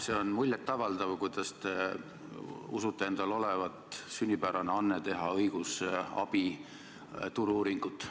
See on muljetavaldav, kuidas te usute endal olevat sünnipärase ande teha õigusabi turu-uuringuid.